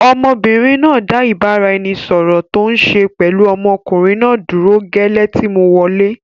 Ọmọbìnrin náà dá ìbáraẹnisọọ̀rọ̀ tòun ṣe pẹlu ọmọkùnrin náà dúró gẹ́lẹ́ tí mo wọlẹ́.